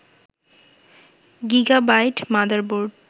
gigabyte motherboard